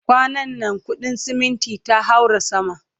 kwanan na kudin ceminti ta haura sama